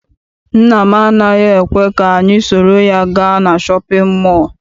Nna m anaghị ekwe ka anyị soro ya gaa na shọpịn mọọ.